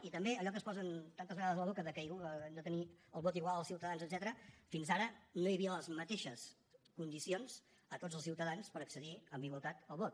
i també allò que es posen tantes vegades a la boca que han de tenir el vot igual els ciutadans etcètera fins ara no hi havia les mateixes condicions de tots els ciutadans per accedir amb igualtat al vot